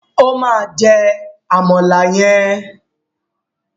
O máa jẹ àmàlà yẹn.